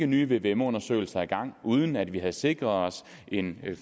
nye vvm undersøgelser i gang uden at vi havde sikret os en